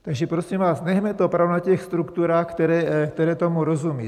Takže prosím vás, nechme to opravdu na těch strukturách, které tomu rozumějí.